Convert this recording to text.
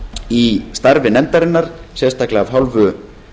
í starfi nefndarinnar sérstaklega af hálfu